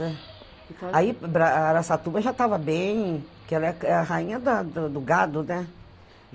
Aí Araçatuba já estava bem, que ela é a rainha da da do gado, né?